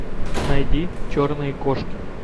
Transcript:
найди черные кошки